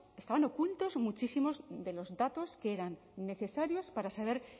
muchísimos de los datos que eran necesarios para saber